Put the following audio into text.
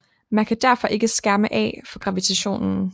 Man kan derfor ikke skærme af for gravitationen